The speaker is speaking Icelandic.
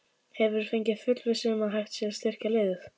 Hefurðu fengið fullvissu um að hægt sé að styrkja liðið?